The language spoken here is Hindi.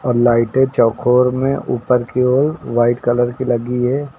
लाइटे चौकोर में ऊपर की ओर व्हाइट कलर की लगी है।